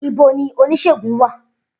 Ibo ni oníṣègùn wà?